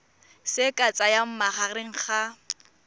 se ka tsayang magareng ga